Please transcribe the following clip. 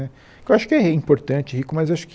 Eu acho que é importante, rico, mas acho que